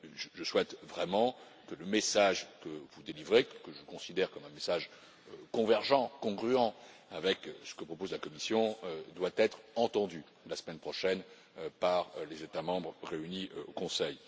Je souhaite vraiment que le message que vous délivrez, que je considère comme un message convergent, congruent avec ce que propose la Commission, soit entendu la semaine prochaine par les États membres réunis au Conseil.